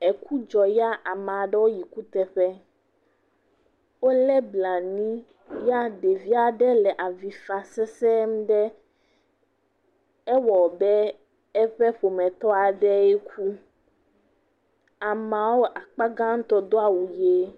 Eku dzɔ ya amea ɖewo yi kuteƒe, wolé blanui ya ɖevi aɖe le avi fam sesɛ̃e ɖe, ewɔa abe eƒe ƒometɔ aɖee ku. Ameawo akpa gãtɔ do awu ʋe.